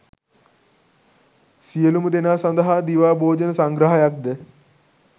සියලුම දෙනා සඳහා දිවා භෝජන සංග්‍රහයක්ද